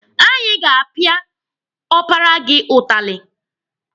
Anyị ga-apịa ọpara gị ụtalị.